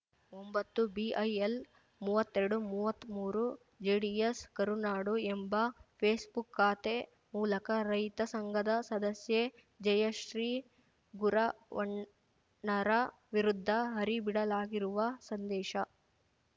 ಒಂಬತ್ತುಬಿಇಎಲ್‌ಮೂವತ್ತೆರಡುಮೂವತ್ಮೂರು ಜೆಡಿಎಸ್‌ ಕರುನಾಡು ಎಂಬ ಫೇಸ್‌ಬುಕ್‌ ಖಾತೆ ಮೂಲಕ ರೈತ ಸಂಘದ ಸದಸ್ಯೆ ಜಯಶ್ರೀ ಗುರವಣ್ಣರ ವಿರುದ್ಧ ಹರಿಬಿಡಲಾಗಿರುವ ಸಂದೇಶ